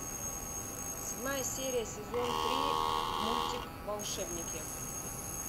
седьмая серия сезон три мультик волшебники